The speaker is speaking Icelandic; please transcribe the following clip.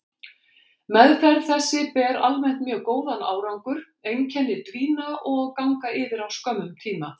Meðferð þessi ber almennt mjög góðan árangur, einkenni dvína og ganga yfir á skömmum tíma.